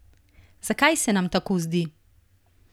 Zakaj se nam tako zdi?